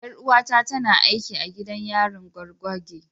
Yar’uwata tana aiki a gidan yarin gwargwage.